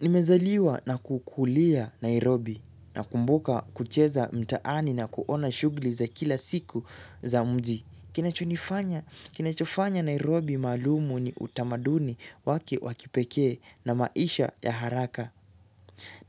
Nimezaliwa na kukulia Nairobi na kumbuka kucheza mtaani na kuona shughli za kila siku za mji. Kinachonifanya, kinachofanya Nairobi maalumu ni utamaduni wake wakipekee na maisha ya haraka.